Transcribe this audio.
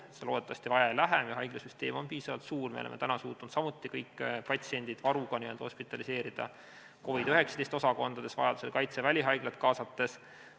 Seda loodetavasti vaja ei lähe, meie haiglasüsteem on piisavalt suur, me oleme suutnud kõik patsiendid n-ö varuga hospitaliseerida COVID-19 osakondades, vajaduse korral Kaitseväe välihaiglat kaasates.